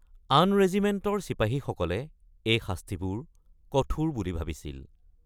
আন ৰেজিমেণ্টৰ চিপাহীসকলে এই শাস্তিবোৰ কঠোৰ বুলি ভাবিছিল।